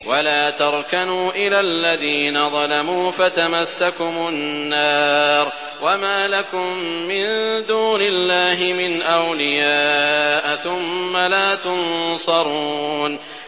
وَلَا تَرْكَنُوا إِلَى الَّذِينَ ظَلَمُوا فَتَمَسَّكُمُ النَّارُ وَمَا لَكُم مِّن دُونِ اللَّهِ مِنْ أَوْلِيَاءَ ثُمَّ لَا تُنصَرُونَ